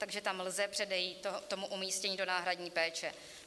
Takže tam lze předejít tomu umístnění do náhradní péče.